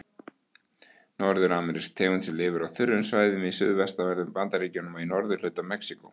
Norður-amerísk tegund sem lifir á þurrum svæðum í suðvestanverðum Bandaríkjunum og í norðurhluta Mexíkó.